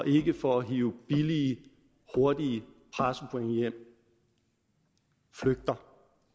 ikke for at hive billige hurtige pressepoint hjem flygter